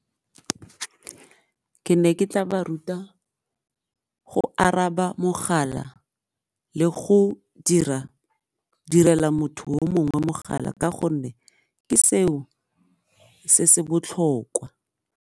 Ke ne ke tla ba ruta go araba mogala le go direla motho o mongwe mogala ka gonne ke seo se se botlhokwa.